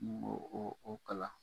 Ŋ'o o o kalan